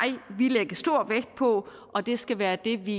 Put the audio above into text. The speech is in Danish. lægge stor vægt på og det skal være det vi